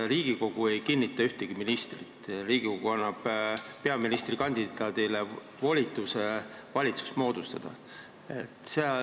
Riigikogu ei kinnita ametisse ühtegi ministrit, Riigikogu annab peaministrikandidaadile volituse valitsus moodustada.